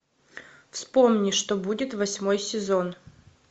вспомни что будет восьмой сезон